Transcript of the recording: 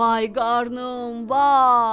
Vay qarnım, vay!